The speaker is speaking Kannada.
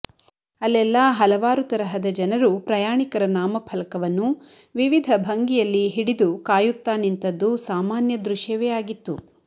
ಅಲ್ಲೆಲ್ಲಾ ಹಲವಾರು ತರಹದ ಜನರು ಪ್ರಯಾಣಿಕರ ನಾಮ ಫಲಕವನ್ನು ವಿವಿಧ ಭಂಗಿಯಲ್ಲಿ ಹಿಡಿದು ಕಾಯುತ್ತಾ ನಿಂತದ್ದು ಸಾಮಾನ್ಯ ದೃಶ್ಯವೇ ಆಗಿತ್ತು